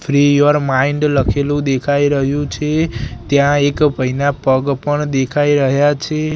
Free your mind લખેલુ દેખાય રહ્યુ છે ત્યાં એક ભઈના પગ પણ દેખાય રહ્યા છે.